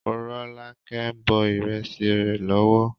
Morọ́lákẹ́ ń bọ ìrẹsì rẹ lọ́wọ́.